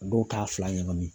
Dɔw t'a fila ɲagami